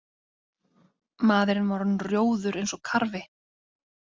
Maðurinn var orðinn rjóður eins og karfi.